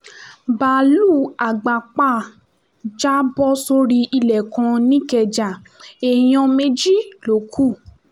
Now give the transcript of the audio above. báálùú àgbàpáà jábọ́ sórí ilẹ̀ kan nìkẹ́ja èèyàn méjì ló kù